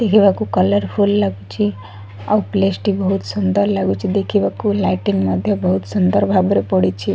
ଦେଖିବାକୁ କଲରଫୁଲ୍ ଲାଗୁଛି ଆଉ ପ୍ଲେସ୍ ଟି ବହୁତ ସୁନ୍ଦର ଲାଗୁଛି ଦେଖିବାକୁ ଲାଇଟ୍ଇଙ୍ଗ ମଧ୍ୟ ବହୁତ ସୁନ୍ଦର ଭାବରେ ପଡ଼ିଛି।